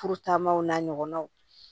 Furu taamaw n'a ɲɔgɔnaw